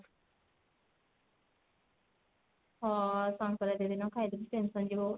ହଁ ସଙ୍କ୍ରାନ୍ତି ଦିନ ଖାଇଡବୁ tension ଯିବ ଗୋଟେ।